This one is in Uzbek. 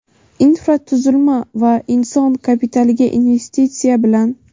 infratuzilma va inson kapitaliga - investitsiya bilan.